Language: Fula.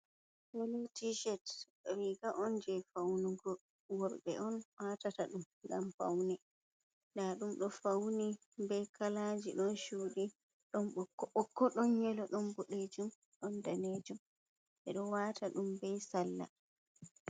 Colo tichet riga on je faunugo worbe on watata dum ngam faune nɗdum do fauni be kalaji, don cudi don boko bokko ɗon yelo ɗon bodejum ɗon danejum. Bedo wata dum be salla.